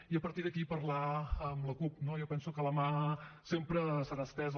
i a partir d’aquí parlar amb la cup no jo penso que la mà sempre serà estesa